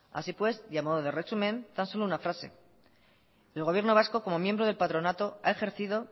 así pues y a modo de resumen tan solo una frase el gobierno vasco como miembro del patronato ha ejercido